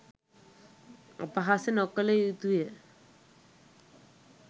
අපහාස නොකළ යුතුය.3